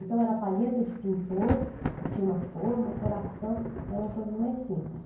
Então era palheta de pintor, que tinha uma forma, coração, eram coisas mais simples.